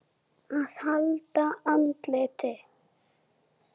AÐ HALDA ANDLITI